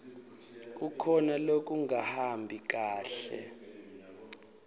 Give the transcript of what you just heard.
kukhona lokungahambi kahle